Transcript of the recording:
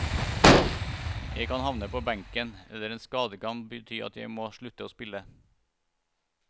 Jeg kan havne på benken, eller en skade kan bety at jeg må slutte å spille.